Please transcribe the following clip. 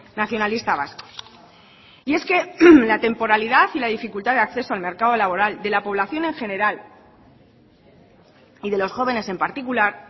nacionalista vasco y es que la temporalidad y la dificultad de acceso al mercado laboral de la población en general y de los jóvenes en particular